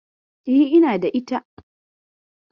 E, ina da ita.